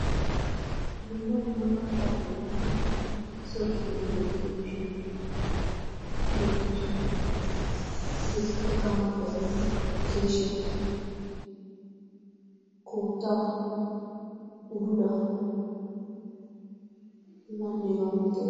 dumma dumma qaqxaappe giigida so giddon goettiyo miishatii beettoosuna higeetuppikka amaridaageeti keeshiyaa koottaa udulaa hagaanneegaa manata